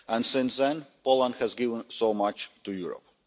Since then, Poland has given so much to Europe.